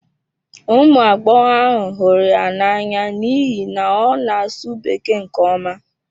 Ụmụ agbọghọ ahụ hụrụ ya n'anya n'ihi na ọ na-asụ Bekee nke ọma.